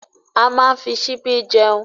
A máa ń fi ṣìbí jeun